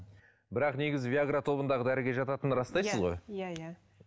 бірақ негізі виагра тобындағы дәріге жататынын растайсыз ғой иә иә